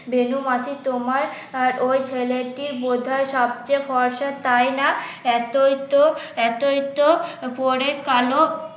বেনু মাসি তোমার ওই ছেলেটি বোধহয় সবচেয়ে ফর্সা তাইনা? এতই তো এতই তো পরে কালো